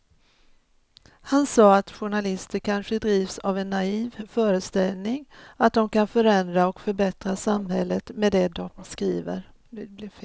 Han sa att journalister kanske drivs av en naiv föreställning att de kan förändra och förbättra samhället med det de skriver.